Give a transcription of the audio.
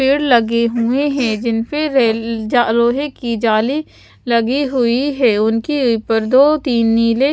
पेड़ लगे हुए है जिनपे रेल लोहे की जाली लगी हुई है उनकी पर्दों की नीले --